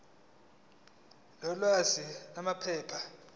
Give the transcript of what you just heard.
lokwengeza sal iphepha